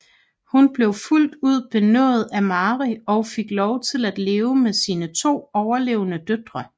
Hun blev fuldt ud benådet af Mary og fik lov til at leve med sine to overlevende døtre